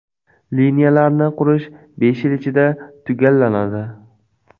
Liniyalarni qurish besh yil ichida tugallanadi.